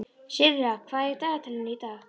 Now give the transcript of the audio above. Sirra, hvað er í dagatalinu í dag?